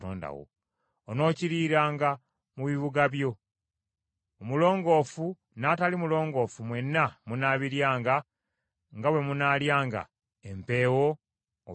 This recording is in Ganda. Onookiriiranga mu bibuga byo. Omulongoofu n’atali mulongoofu mwenna munaabiryanga nga bwe munaalyanga empeewo oba enjaza.